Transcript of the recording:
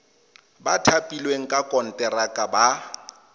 ba thapilweng ka konteraka ba